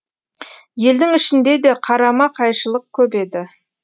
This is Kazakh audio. елдің ішінде де қарама қайшылық көп еді